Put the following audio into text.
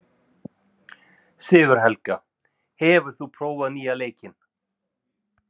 Sigurhelga, hefur þú prófað nýja leikinn?